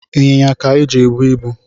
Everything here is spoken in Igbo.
Ịnyịnya ka eji ebu ibu